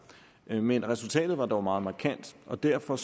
men resultatet var dog meget markant og derfor